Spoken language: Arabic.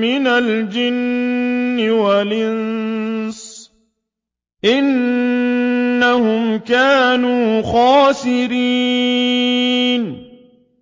مِّنَ الْجِنِّ وَالْإِنسِ ۖ إِنَّهُمْ كَانُوا خَاسِرِينَ